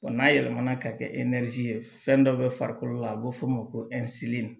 Wa n'a yɛlɛmana ka kɛ ye fɛn dɔ bɛ farikolo la a bɛ f'o ma ko